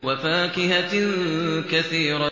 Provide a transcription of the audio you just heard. وَفَاكِهَةٍ كَثِيرَةٍ